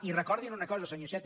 i recordin una cosa senyor iceta